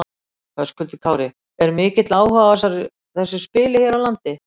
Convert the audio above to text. Höskuldur Kári: Er mikill áhugi á þessu spili hér á landi?